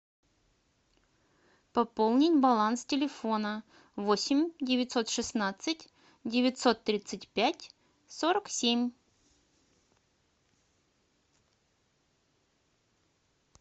пополнить баланс телефона восемь девятьсот шестнадцать девятьсот тридцать пять сорок семь